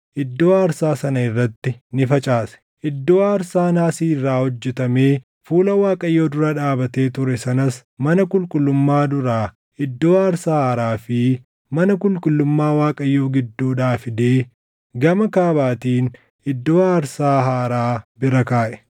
Iddoo aarsaa naasii irraa hojjetamee fuula Waaqayyoo dura dhaabatee ture sanas mana qulqullummaa duraa iddoo aarsaa haaraa fi mana qulqullummaa Waaqayyoo gidduudhaa fidee gama kaabaatiin iddoo aarsaa haaraa bira kaaʼe.